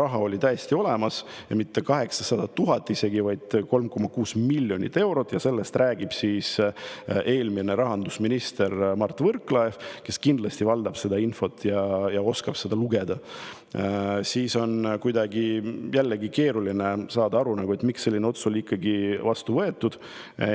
raha oli täiesti olemas, ja mitte isegi 800 000, vaid 3,6 miljonit eurot, ja sellest räägib eelmine rahandusminister Mart Võrklaev, kes kindlasti valdab seda infot ja oskab lugeda, siis on jällegi keeruline saada aru, miks selline otsus ikkagi vastu võeti.